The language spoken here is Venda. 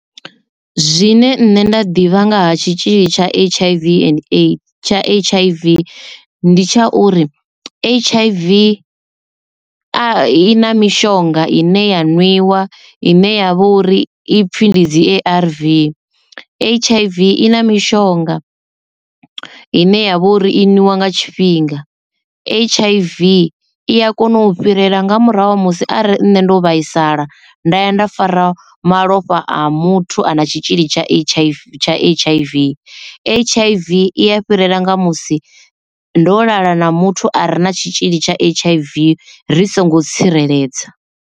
Zwine nṋe nda ḓivha nga ha tshitzhili tsha H_I_V and tsha H_I_V ndi tsha uri H_I_V a i na mishonga ine ya nwiwa ine ya vha uri i pfhi ndi dzi A_R_V. H_I_V i na mishonga ine ya vha uri i nga nwiwa tshifhinga H_I_V i a kona u fhirela nga murahu ha musi arali nṋe ndo vhaisala nda ya nda fara malofha a muthu a na tshitzhili tsha H_I_V tsha H_I_V. H_I_V i a fhirela nga musi ndo lala na muthu a re na tshitzhili tsha H_I_V ri songo tsireledzea.